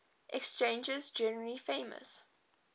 exchanges generally famous